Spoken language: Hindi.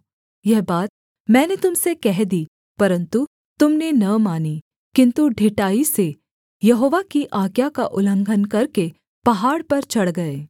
यह बात मैंने तुम से कह दी परन्तु तुम ने न मानी किन्तु ढिठाई से यहोवा की आज्ञा का उल्लंघन करके पहाड़ पर चढ़ गए